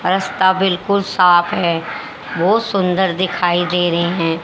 रास्ता बिल्कुल साफ है। बहुत सुंदर दिखाई दे रहे हैं।